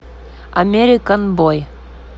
америкэн бой